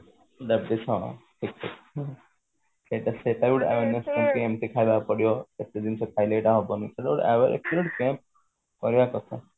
ସେଟା ବି ଏମତି ଖାଇବାକୁ ପଡିବ ଏତେ ଜିନିଷ ଖାଇଲେ ଏଟା ହବନି କଣ କରିବା କଥା